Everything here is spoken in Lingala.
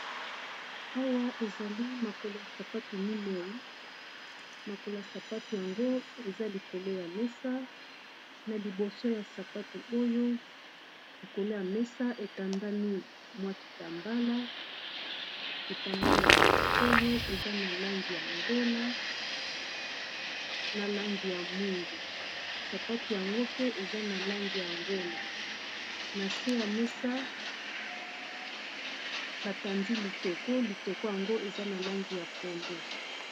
Awa ezali makolo ya sapato minei makolo sapato yango eza likolo ya mesa na liboso ya sapatu oyo likolo ya mesa etandami mwakitambala kitambala oyo eza na langi ya ngola na langi ya mwindu sapato yango pe eza na langi ya ngola na se ya mesa batandi litoko litoko yango eza na langi ya pondu.